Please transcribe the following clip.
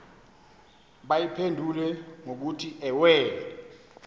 bayiphendule ngokuthi ewe